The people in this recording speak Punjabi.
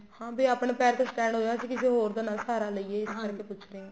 ਆ ਵੀ ਆਪਣੇ ਪੈਰ ਤੇ stand ਹੋ ਜਾਈਏ ਅਸੀਂ ਕਿਸੇ ਹੋਰ ਦਾ ਨਾ ਸਹਾਰਾ ਲਈਏ ਇਸ ਕਰਕੇ ਪੁੱਛ ਰਹੀ ਆ